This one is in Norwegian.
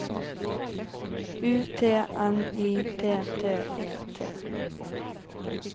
U T N Y T T E T